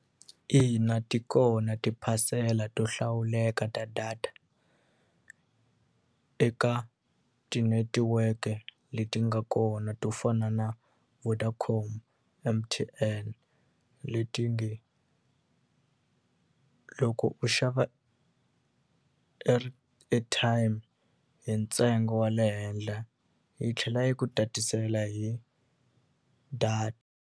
Ina, ti kona tiphasela to hlawuleka ta data eka tinetiweke leti nga kona to fana na Vodacom M_T_N leti nge loko u xava airtime hi ntsengo wa le henhle yi tlhela yi ku tatisela hi .